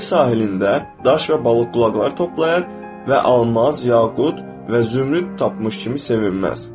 Dəniz sahilində daş və balıq qulaqları toplayır və almaz, yaqut və zümrüd tapmış kimi sevinməz.